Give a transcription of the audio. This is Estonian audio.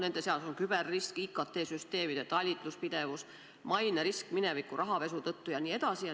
Nende seas on küberrisk, IKT-süsteemide talitluspidevus, mainerisk mineviku rahapesu tõttu jne.